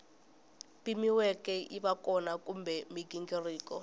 pimiweke yiva kona kumbe mighingiriko